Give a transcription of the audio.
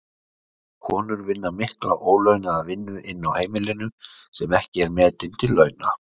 Konur vinna mikla ólaunaða vinnu inni á heimilinu sem ekki er metin til launa.